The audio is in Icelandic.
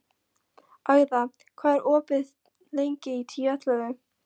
Agða, hvað er opið lengi í Tíu ellefu?